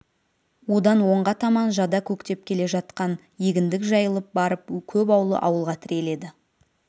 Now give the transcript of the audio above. одан оңға таман жада көктеп келе жатқан егіндік жайылып барып көп үйлі ауылға тіреледі